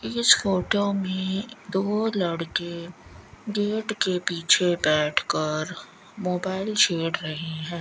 इस फोटो में दो लड़के गेट के पीछे बैठ कर मोबाइल छेड़ रहे हैं।